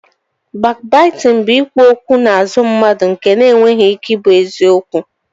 Bakbaitịn bụ ikwu okwu n'azụ mmadụ nke na-enweghị ike ị bụ eziokwu